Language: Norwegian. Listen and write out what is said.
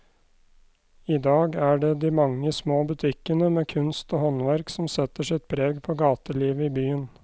I dag er det de mange små butikkene med kunst og håndverk som setter sitt preg på gatelivet i byen.